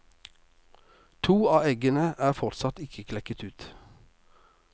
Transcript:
To av eggene er fortsatt ikke klekket ut.